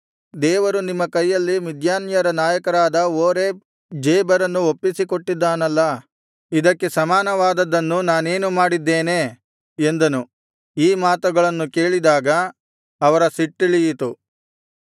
ದೇವರು ನಿಮ್ಮ ಕೈಯಲ್ಲಿ ಮಿದ್ಯಾನ್ಯರ ನಾಯಕರಾದ ಓರೇಬ್ ಜೇಬರನ್ನು ಒಪ್ಪಿಸಿ ಕೊಟ್ಟಿದ್ದಾನಲ್ಲಾ ಇದಕ್ಕೆ ಸಮಾನವಾದದ್ದನ್ನು ನಾನೇನು ಮಾಡಿದ್ದೇನೆ ಎಂದನು ಈ ಮಾತುಗಳನ್ನು ಕೇಳಿದಾಗ ಅವರ ಸಿಟ್ಟಿಳಿಯಿತು